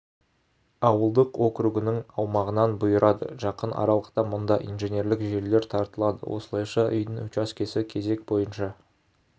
ауылдық округінің аумағынан бұйырады жақын аралықта мұнда инженерлік желілер тартылады осылайша үйдің учаскесі кезек бойынша